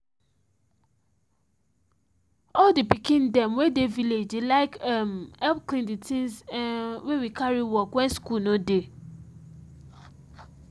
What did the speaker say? all the pikin them wey dey village dey like um help clean the things um wey we carry work when school no dey